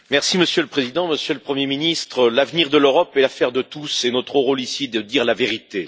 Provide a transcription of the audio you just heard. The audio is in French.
Monsieur le Président, Monsieur le Premier ministre, l'avenir de l'Europe est l'affaire de tous et notre rôle, ici, est de dire la vérité.